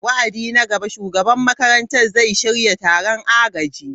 Wa'adi na gaba, Shugaban makarantar zai shirya taron agaji.